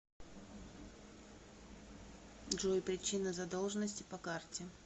джой причина задолженности по карте